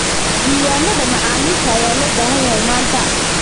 Diiwaanada macaamiisha ayaa loo baahan yahay manta.